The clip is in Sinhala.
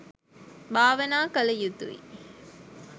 භාවනා කළ යුතුයි.